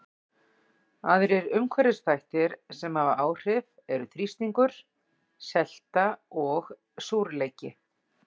Aðrir umhverfisþættir sem hafa áhrif eru þrýstingur, selta og súrleiki.